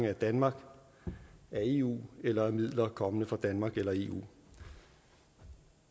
af danmark af eu eller af midler der kommer fra danmark eller eu